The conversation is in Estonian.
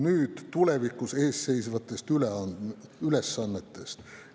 Nüüd tulevikus ees seisvatest ülesannetest.